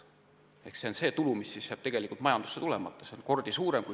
Ehk see on see tulu, mis jääb majandusse tulemata.